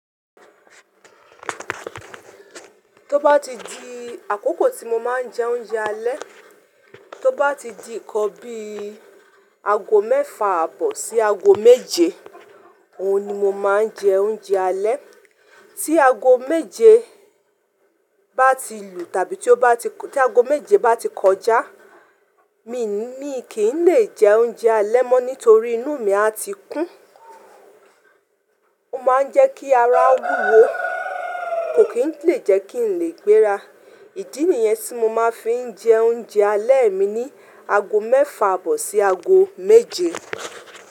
Tó bá ti di àkókò tí mo máa ń jẹ oúnjẹ alẹ́, tó bá ti di ǹkan bí i ago mẹ́fà àbọ̀ sí ago méje, òhun ni mo máa ń jẹ oúnjẹ alẹ́. Tí ago méje bá ti lù tàbí tí ago méje bá ti kọjá, èmi ni kì í lè jẹ oúnjẹ alẹ́ mọ́ nítorí inú mi a ti kún. Ó máa ń jẹ́ kí ara wúwo, kò kì í lè jẹ́ kí n lè gbéra. Ìdí nìyẹn tí mo máa fi ń jẹ oúnjẹ alẹ́ mi ní ago mẹ́fà àbọ̀ sí ago méje.